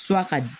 ka di